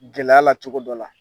Gɛlɛya la cogo dɔ la